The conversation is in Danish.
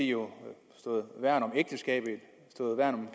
jo stået værn om ægteskabet stået værn om